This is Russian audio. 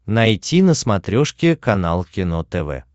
найти на смотрешке канал кино тв